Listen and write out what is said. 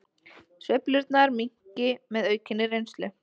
Sveiflurnar minnki með aukinni reynslu